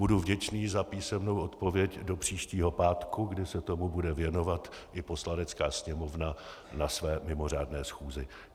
Budu vděčný za písemnou odpověď do příštího pátku, kdy se tomu bude věnovat i Poslanecká sněmovna na své mimořádné schůzi.